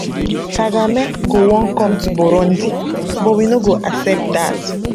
[kagame] go wan come to burundi we no go accept dat